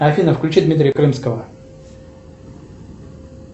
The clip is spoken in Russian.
афина включи дмитрия крымского